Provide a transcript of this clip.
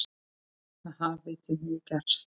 Það hafi því miður gerst.